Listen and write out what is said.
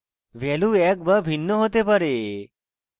value একই be ভিন্ন হতে পারে